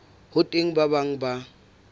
ho teng ba bang ba